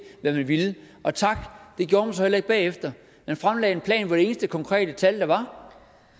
hvad man ville og tak det gjorde man så heller ikke bagefter man fremlagde en plan hvor de eneste konkrete tal der var